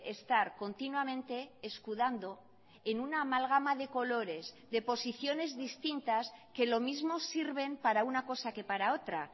estar continuamente escudando en una amalgama de colores de posiciones distintas que lo mismo sirven para una cosa que para otra